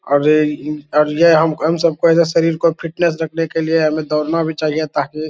अरे इ और यह हम हम सबको शरीर को फिटनेस रखने के लिए हमे दौड़ना भी चाहिए ताकि --